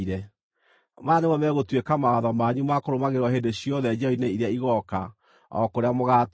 “ ‘Maya nĩmo megũtuĩka mawatho manyu ma kũrũmagĩrĩrwo hĩndĩ ciothe njiarwa-inĩ iria igooka, o kũrĩa mũgaatũũra.